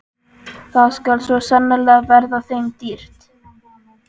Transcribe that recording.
Það skal svo sannarlega verða þeim dýrt!